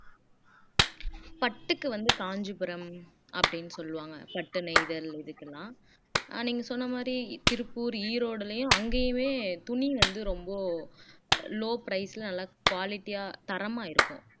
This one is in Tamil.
பட்டுக்கு வந்து காஞ்சிபுரம் அப்படின்னு சொல்லுவாங்க பட்டு நெய்தல் இதுக்கெல்லாம் அஹ் நீங்க சொன்ன மாதிரி திருப்பூர் ஈரோட்டுலேயும் அங்கேயுமே துணி வந்து ரொம்ப low price ல நல்லா quality ஆ தரமா இருக்கும்